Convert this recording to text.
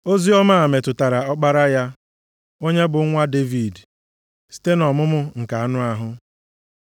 Oziọma a metụtara Ọkpara ya, onye bụ nwa Devid site nʼọmụmụ nke anụ ahụ.